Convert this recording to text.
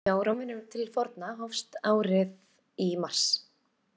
Hjá Rómverjum til forna hófst árið í mars.